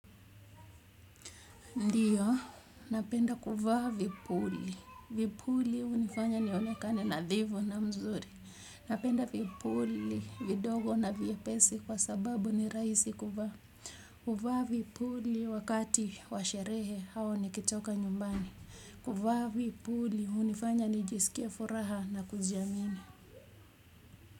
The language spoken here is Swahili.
Ndiyo, napenda kuvaa vipuli, vipuli hunifanya nionekane nadhifu na mzuri napenda vipuli, vidogo na vyepesi kwa sababu ni rahisi kuvaa kuvaa vipuli wakati wa sherehe au nikitoka nyumbani kuvaa vipuli hunifanya nijisikie furaha na kujiamini.